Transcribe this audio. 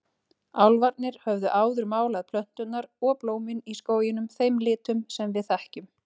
Álfarnir höfðu áður málað plönturnar og blómin í skóginum þeim litum sem við þekkjum.